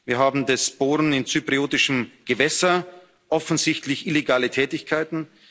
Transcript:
Wir haben das Bohren in zypriotischem Gewässer, offensichtlich illegale Tätigkeiten.